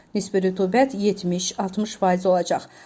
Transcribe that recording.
Nisbi rütubət 70-60 faiz olacaq.